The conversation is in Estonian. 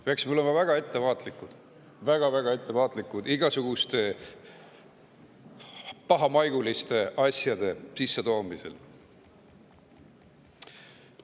Peaksime olema väga ettevaatlikud, väga-väga ettevaatlikud igasuguste pahamaiguliste asjade sissetoomisel.